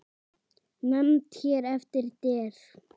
Nefnd hér eftir: Der